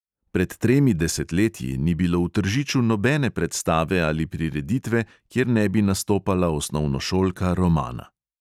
Pred tremi desetletji ni bilo v tržiču nobene predstave ali prireditve, kjer ne bi nastopala osnovnošolka romana.